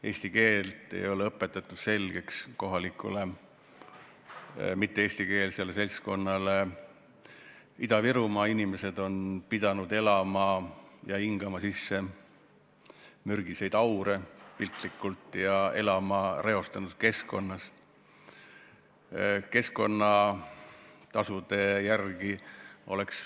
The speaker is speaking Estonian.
Eesti keelt ei ole kohalikule mitte-eestikeelsele seltskonnale selgeks õpetatud, Ida-Virumaa inimesed on pidanud hingama sisse mürgiseid aure, piltlikult öeldes, ja elama reostatud keskkonnas.